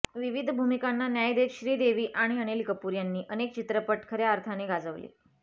विविध भूमिकांना न्याय देत श्रीदेवी आणि अनिल कपूर यांनी अनेक चित्रपट खऱ्या अर्थाने गाजवले